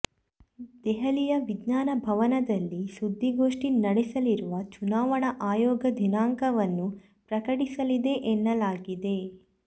ದೆಹಲಿಯ ವಿಜ್ಞಾನ ಭವನದಲ್ಲಿ ಸುದ್ದಿಗೋಷ್ಠಿ ನಡೆಸಲಿರುವ ಚುನಾವಣಾ ಆಯೋಗ ದಿನಾಂಕವನ್ನು ಪ್ರಕಟಿಸಲಿದೆ ಎನ್ನಲಾಗಿದೆ